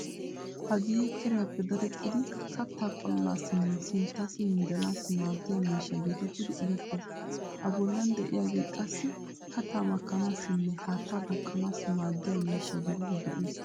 Hagee kiriyappe dadettidi kattaa qolanaassinne sinttassi minjjanaassi maaddiya miishsha geetettidi erettees.A bollan de'iyaage qassi kattaa makkanaassine haattaa duuqqanaassi maaddiya miishsha gididi go'ees.